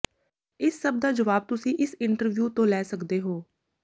ਇਸ ਸਭ ਦਾ ਜਵਾਬ ਤੁਸੀਂ ਇਸ ਇੰਟਰਵਿਊ ਤੋਂ ਲੈ ਸਕਦੇ ਹੋ